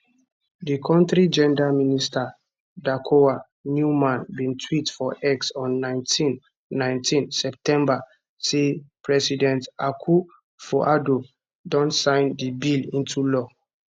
di kontri gender minister dakoa newman bin tweet for x on 19 19 september say president akufoaddo don sign di bill into law